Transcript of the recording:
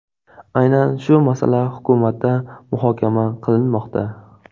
Aynan shu masala hukumatda muhokama qilinmoqda”.